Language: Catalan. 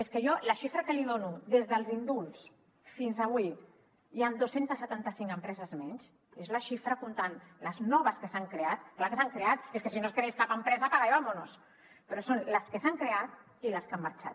és que jo la xifra que li dono des dels indults fins avui hi ha dos cents i setanta cinc empreses menys és la xifra comptant les noves que s’han creat clar que s’han creat és que si no es creés cap empresa apaga y vámonos però són les que s’han creat i les que han marxat